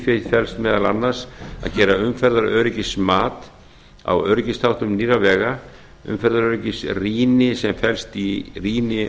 því felst meðal annars að gera umferðaröryggismat á öryggisþáttum nýrra vega umferðaröryggisrýni sem felst í rýni